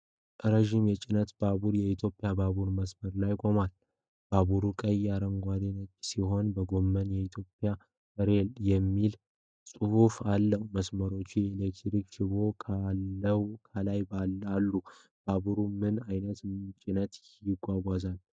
ረዥም የጭነት ባቡር የኢትዮጵያ ባቡር መስመር ላይ ቆሞ። ባቡሩ ቀይ፣ አረንጓዴና ነጭ ሲሆን፣ በጎን 'ኢትዮጵያን ሬል' የሚል ጽሑፍ አለው። መስመሮቹና የኤሌክትሪክ ሽቦዎች ከላይ አሉ። ባቡሩ ምን አይነት ጭነት ያጓጉዛል?